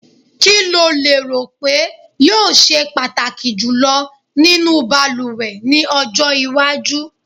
Kí o lérò pé yóò se pàtàkì jùlọ nínú balùwẹ̀ ní ọjọ́ iwájú?